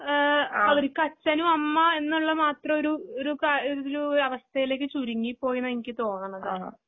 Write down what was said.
ഏഹ് അവർക്കച്ചനുഅമ്മാഎന്നുള്ളമാത്രഒരു ഒരുകാ ഒരുതിലൂ അവസ്ഥയിലേക്ക്ചുരുങ്ങിപോയെന്നായെക്ക്തോന്നണത്.